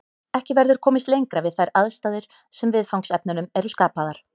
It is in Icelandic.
Ekki verður komist lengra við þær aðstæður sem viðfangsefnunum eru skapaðar.